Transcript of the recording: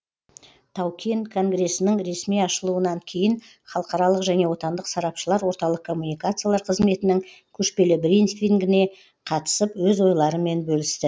тау кен конгресінің ресми ашылуынан кейін халықаралық және отандық сарапшылар орталық коммуникациялар қызметінің көшпелі брифингіне қатысып өз ойларымен бөлісті